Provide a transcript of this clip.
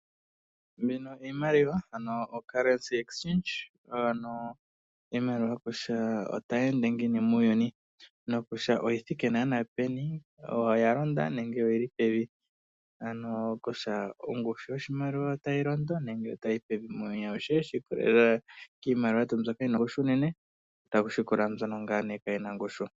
Ano o currency exchange iimaliwa kutya otayi ende ngiini muuyuni noku tya oyithike naana peni oya londa nenge oyili pevi. Ano kutya ongushu yoshimaliwa otayi londo nenge otayi yiyi pevi muuyuni awuhe shi ikwatelela kiimaliwa yetu mbyono yina ongushu unene taku landula mbyono kayina ongushu.